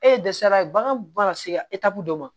E dɛsɛra bagan bana se dɔ ma